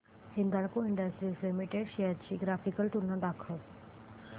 Hindalco industries limited shares ची graphical तुलना दाखव